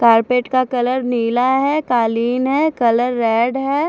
Carpet का colour नीला है कालीन है कलर रेड है।